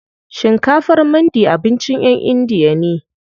Shinkafar mandi abincin ƴan indiya ne.